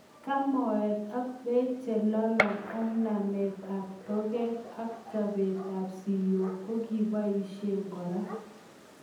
Kamoet ak peek chelolong ak nameet ap toget ak chopeet ap siyok ko kikebaishe koraa.